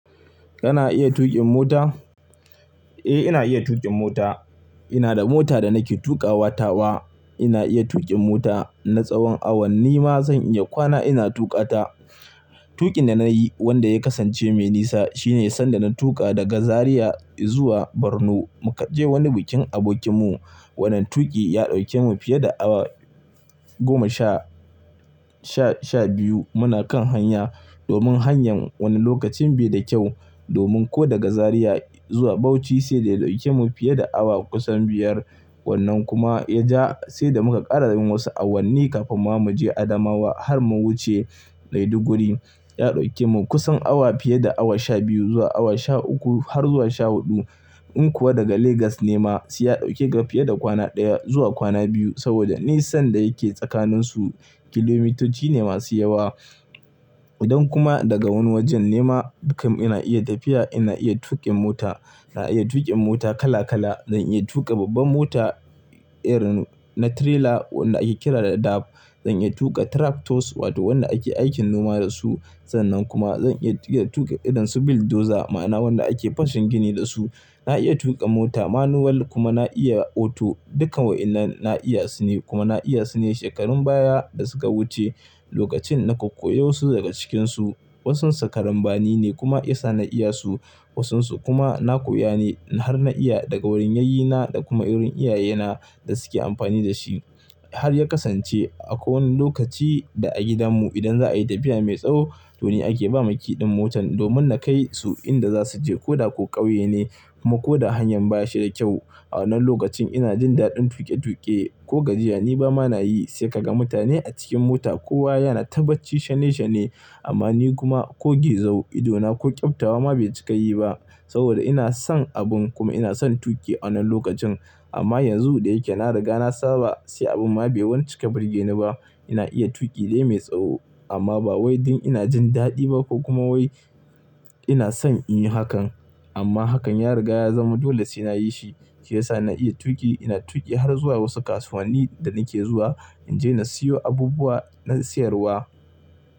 Kana iya tuƙin mota? Eh, ina iya tuƙin mota. Ina da mota da nake tuƙa wata wa. Ina iya tuƙin mota. Na tsawon awanni ma zan iya kwana ina tuƙa ta. Tuƙin da na yi wanda ya kasance mai nisa shine sanda na tuƙa daga Zariya zuwa Borno muka je wani bikin abokinmu. Wannan tuƙi ya ɗauke mu fiye da awa goma sha-sha biyu muna kan hanya domin hanyar wani lokacin bai da kyau. Domin ko daga Zariya zuwa Bauchi sai da ya ɗauke mu fiye da awa kusan biyar. Wannan kuma ya ja sai da muka ƙara yin wasu awanni kafin ma mu je Adamawa har mun wuce Maiduguri. Ya ɗauke mu kusan awa fiye da awa sha biyu zuwa awa sha uku har zuwa sha huɗu. In kuwa daga Legas ne ma sai ya ɗauke ga fiye da kwana ɗaya zuwa kwana biyu saboda nisan da yake tsakaninsu kilomitoci ne masu yawa. Idan kuma daga wani wajen ne ma kam ina iya tafiya. Ina iya tuƙin mota. Ina iya tuƙin mota kala kala. Zan iya tuƙa babban mota, irin na trailer wanda ake kira da dab. Zan iya tuƙa tractors wato wanda ake aikin noma dasu. Sannan kuma zan iya tuƙa irin su bulldozer ma'ana wanda ake fashin gini dasu. Na iya tuƙa mota manual kuma na iya auto. Dukkan wa'inan na iyasu ne kuma na iyasu ne shekarun baya da suka wuce lokacin naka koyi wasu daga cikinsu. Wasunsa karambani ne kuma ya sa na iyasu. Wasunsu kuma na koya ne har na iya daga wurin yayyina da kuma wurin iyayena da suke amfani dashi. Har ya kasance akwai wani lokaci da a gidanmu idan za a yi tafiya mai tsawo to ni ake ba miki ɗin motan domin na kai su inda za su je ko da ko ƙauye ne ko ma hanyar baya shida kyau. A wannan lokacin ina jin daɗin tuƙe-tuƙe ko gajiya ni ba ma nayi sai ka ga mutane a cikin mota kowa yana tabbaci shane-shane amma ni kuma ko gezau idona ko ƙyabtawa ma bai cika yi ba saboda ina son abun kuma ina son tuƙi a wannan lokacin. Amma yanzu da yake na riga na saba sai abin ma bai wani ci ka birge ni ba. Ina iya tuƙi dai mai tsawo amma ba wai don ina jin daɗi ba ko kuma wai ina son in yi hakan. Amma hakan ya riga ya zama dole sai na yi shi shi ya sa na iya tuƙi. Ina tuƙi har zuwa wasu kasuwanni da nike zuwa in je na siyo abubuwa don sayarwa.